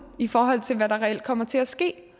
i forhold til hvad der reelt kommer til at ske